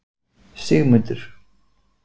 Sigmundur